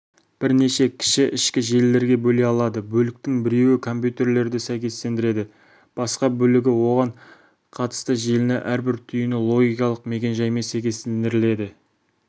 бірнеше кіші ішкі желілерге бөле алады бөліктің біреуі компьютерді сәйкестендіреді басқа бөлігі оған қатысты желіні әрбір түйіні логикалық мекен-жаймен сәйкестендіріледі